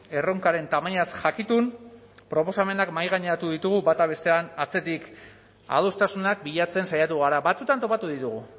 erronkaren tamainaz jakitun proposamenak mahaigaineratu ditugu bata bestearen atzetik adostasunak bilatzen saiatu gara batzuetan topatu ditugu